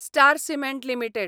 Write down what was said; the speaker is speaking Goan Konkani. star cement limited